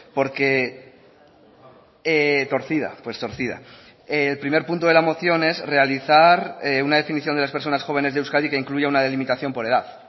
porque torcida pues torcida el primer punto de la moción es realizar una definición de las personas jóvenes de euskadi que incluya una delimitación por edad